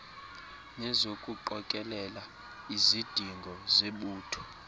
nezokuqokelela izidingo zebutho